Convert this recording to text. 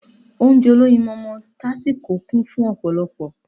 Ounjẹ olóyinmọmọ tásíko kún fun ọ̀pọ̀lọpọ̀